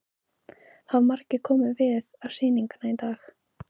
Hafa margir komið við á sýninguna í dag?